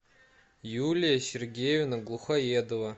юлия сергеевна глухоедова